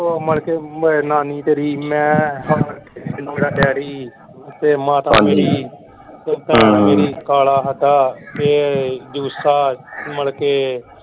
ਨਾਨੀ ਤੇਰੀ ਮੈਂ ਸਿੰਧੂ ਦਾ ਡੈਡੀ ਤੇ ਮਾਤਾ ਮੇਰੀ ਮੇਰੀ ਕਾਲਾ ਸਾਡਾ ਫੇਰ ਜੁਸਾ ਮਲਕੇ।